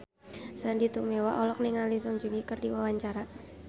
Sandy Tumiwa olohok ningali Song Joong Ki keur diwawancara